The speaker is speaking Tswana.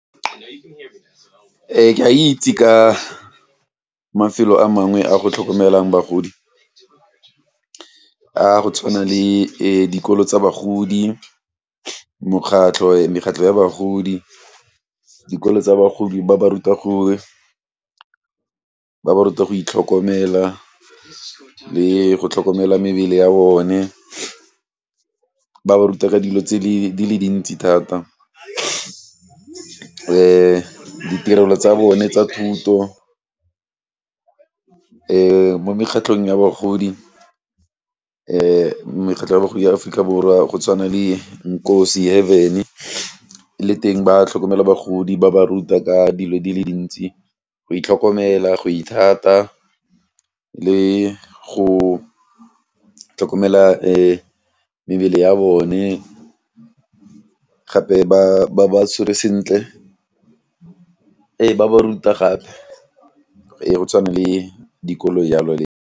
Ke a itse ka mafelo a mangwe a go tlhokomelang bagodi a go tshwana le dikolo tsa bagodi, mokgatlho mekgatlho ya bagodi, dikolo tsa bagodi ba ba ruta go, ba ba ruta go itlhokomela le go tlhokomela mebele ya bone, ba ba ruta ka dilo tse di le dintsi thata. Ditirelo tsa bone tsa thuto mo mekgatlhong ya bagodi mekgatlho ya bagodi ya Aforika Borwa go tshwana le le teng ba tlhokomela bagodi ba ba ruta ka dilo di le ntsi, go itlhokomela, go ithata le go tlhokomela mebele ya bone gape ba batshwere sentle. Ba ba ruta gape go tshwana le dikolo jalo .